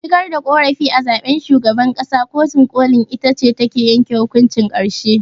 Shigar da ƙorafi a zaɓen shugaban ƙasa, kotun ƙolin itace take yanke hukuncin ƙarshe.